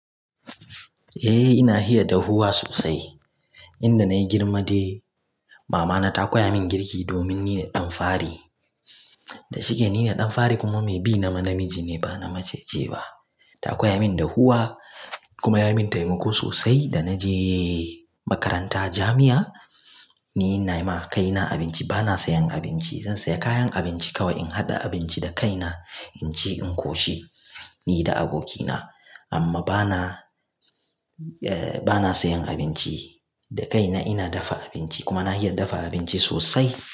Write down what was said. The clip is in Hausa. Eh ina iya dahuwa sosai. Inda na yi girma dai, mama na ta koya min girki domin ni ne ɗan fari. Da shike ni ne ɗan fari kuma mai bi na ma namiji ne ba mace ce ba. Ta koya min dahuwa, kuma ya min taimako sosai. Da na je makaranta jami'a, ni ina yi ma kaina abinci ba na sayan abinci. Zan saya kayan abinci kawai in haɗa abinci da kaina, in ci in ƙoshi ni da abokina. Amma bana sayan abinci, da kaina ina dafa abinci kuma na iya dafa abinci sosai.